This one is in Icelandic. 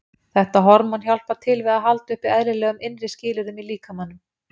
Þetta hormón hjálpar til við að halda uppi eðlilegum innri skilyrðum í líkamanum.